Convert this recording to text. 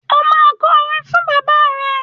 Ó máa kọ orin fún bàbá rẹ.